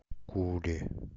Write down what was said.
куре